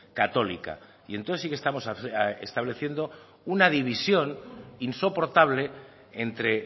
católica y entonces sí que estamos estableciendo una división insoportable entre